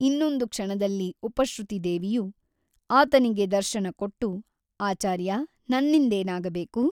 ಇನ್ನೊಂದು ಕ್ಷಣದಲ್ಲಿ ಉಪಶ್ರುತಿದೇವಿಯು ಆತನಿಗೆ ದರ್ಶನ ಕೊಟ್ಟು ಆಚಾರ್ಯ ನನ್ನಿಂದೇನಾಗಬೇಕು?